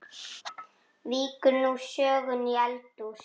Víkur nú sögunni í eldhús.